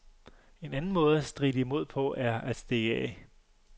En anden måde at stritte imod på er at stikke af.